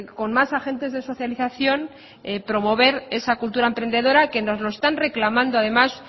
con más agentes de socialización promover esa cultura emprendedora que nos lo están reclamando además